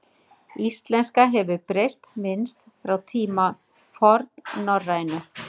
Íslenska hefur breyst minnst frá tíma fornnorrænu.